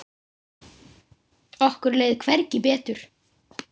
Okkur leið hvergi betur.